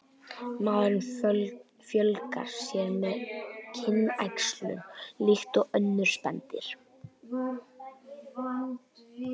Maðurinn fjölgar sér með kynæxlun líkt og önnur spendýr.